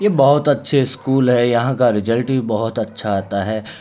ये बहोत अच्छे स्कूल है यहाँ का रिजल्ट ही बहोत अच्छा आता है।